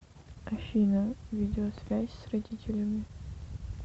афина видеосвязь с родителями